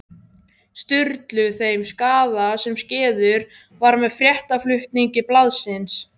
Sturlu þeim skaða sem skeður var með fréttaflutningi blaðsins.